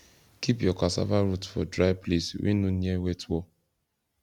keep your cassava root for dry place wey no near wet wall